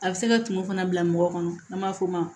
A bɛ se ka tumu fana bila mɔgɔ kɔnɔ n'a b'a fɔ o ma